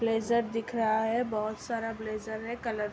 Blazer दिख रहा है। बहोत सारा ब्लेजर है कलर --